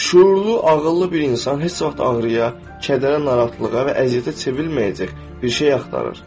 Şüurlu, ağıllı bir insan heç vaxt ağrıya, kədərə, narahatlığa və əziyyətə çevrilməyəcək bir şey axtarır.